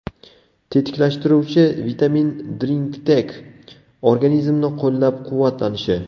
Tetiklashtiruvchi Vitamin Drinktec organizmni qo‘llab-quvvatlanishi.